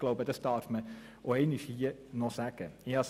Ich glaube, dass man das auch noch einmal sagen darf.